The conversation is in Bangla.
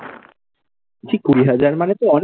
কুড়ি হাজার মানে তো অনেক?